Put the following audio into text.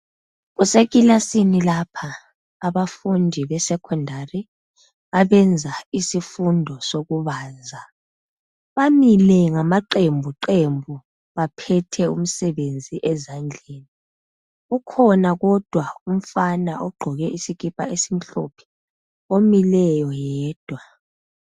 Kusekilasini lapha abafundi besekhondali abenza isifundo sokubaza. Bamile ngamaqembu qembu baphethe umsebenzi ezandleni. Kukhona kodwa umfana ogqoke isikipa esimhlophe omileyo yedwa.